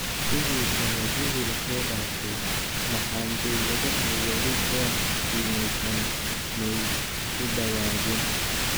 Sidhi sanadyihi lasodaafe maxan, dowladha wali beec kiimeysan maay kudawagin.